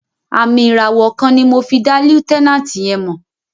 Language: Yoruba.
Àmìn ìràwọ̀ kan ni mo fi dá lieutenant yẹn mọ̀.